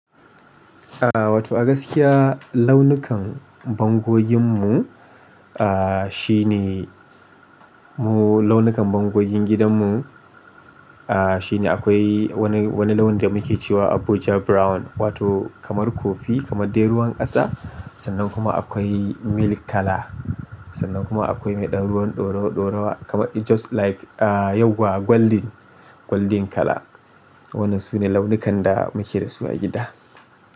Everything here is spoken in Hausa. Ah wato a gaskiya launukan bangogin mu ah shine mu launukan bangogin gidan mu ah shine akwai wani, wani launi da muke cewa Abuja brown wato kamar kofi kamar dai ruwan kasa sannan kuma akwai milk kala sannan kuma akwai mai ɗan ruwan ɗorawa ɗorawa kamar just like ah yauwa gwaldin gwaldin kala. Waɗannan sune launukan da muke da su a gida.